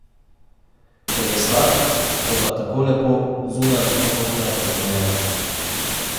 Ker je star, toda tako lepo, zunaj in znotraj, obnovljen.